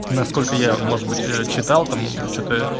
насколько я может быть читал там что-то